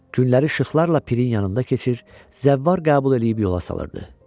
Günləri işıqlarla pirin yanında keçir, zəvvar qəbul eləyib yola salırdı.